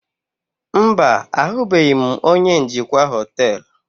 Mba, ahụbeghị m onye njikwa hoteelu.